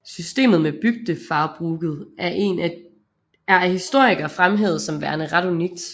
Systemet med bygdefarbruket er af historikere fremhævet som værende ret unikt